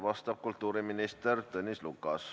Vastab kultuuriminister Tõnis Lukas.